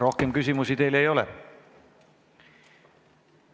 Rohkem küsimusi teile ei ole.